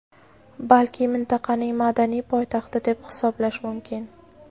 balki mintaqaning madaniy poytaxti deb hisoblash mumkin.